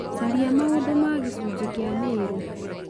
caria maũndũ ma gĩcunjĩ kĩa mĩrũ